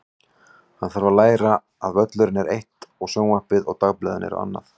Hann þarf að læra að völlurinn er eitt og sjónvarpið og dagblöðin eru annað.